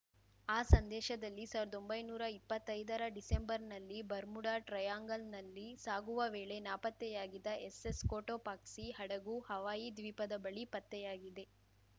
ಆ ಸಂದೇಶದಲ್ಲಿ ಸಾವರ್ದೊಂಭೈನೂರ ಇಪ್ಪತ್ತೈದರ ಡಿಸೆಂಬರ್‌ನಲ್ಲಿ ಬರ್ಮುಡಾ ಟ್ರಯಾಂಗಲ್‌ನಲ್ಲಿ ಸಾಗುವ ವೇಳೆ ನಾಪತ್ತೆಯಾಗಿದ್ದ ಎಸ್‌ಎಸ್‌ ಕೊಟೊಪಾಕ್ಸಿ ಹಡಗು ಹವಾಯಿ ದ್ವೀಪದ ಬಳಿ ಪತ್ತೆಯಾಗಿದೆ